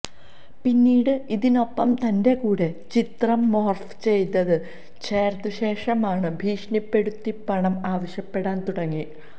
പിന്നീട് ഇതിനൊപ്പം തന്റെ കൂടെ ചിത്രം മോര്ഫ് ചെയ്ത് ചേര്ത്ത ശേഷമാണ് ഭീഷണിപ്പെടുത്തി പണം ആവശ്യപ്പെടാന് തുടങ്ങി